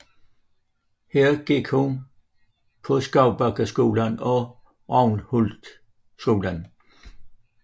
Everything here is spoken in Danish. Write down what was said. Her gik hun på Skovbakkeskolen og Rathlouskolen